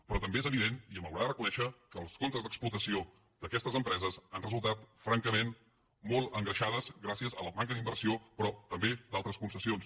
però també és evident i m’ho haurà de reconèixer que els comptes d’explotació d’aquestes empreses han resultat francament molt engreixats gràcies a la manca d’inversió però també a altres concessions